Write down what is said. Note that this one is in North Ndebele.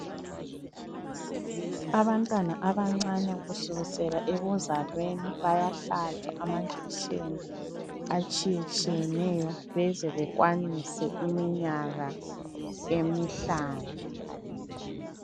Abantwana abancane kusukusela ekuzalweni bayahlatshwa amanjekiseni atshiyetshiyeneyo beze bekwanise iminyaka emihlanu.